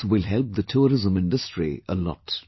This will help the tourism industry a lot